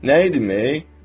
Nə idim, ey?